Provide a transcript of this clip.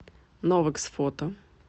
новэкс фото